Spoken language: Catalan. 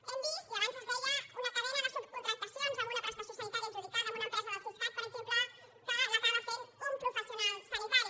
hem vist i abans es deia una cadena de subcontractacions en una prestació sanitària adjudicada en una empresa del siscat per exemple que l’acaba fent un professional sanitari